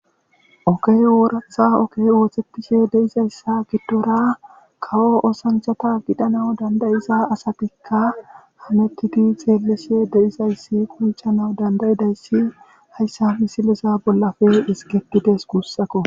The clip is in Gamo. Oge ooraththa ogede'izayssa gidora kawo oosanchata gidanawu danda'iza asatikka ha hametidi xeelishe de'izaysi qonccanaw danda'izayssi hayssa misilezan bollappe ezgetides guusakko.